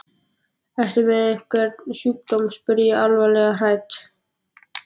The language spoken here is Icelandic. Ertu með einhvern sjúkdóm? spurði ég alvarlega hrædd.